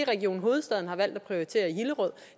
region hovedstaden har valgt at prioritere i hillerød og